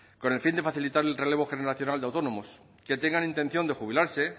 con el fin de facilitar el relevo generacional de autónomos que tengan intención de jubilarse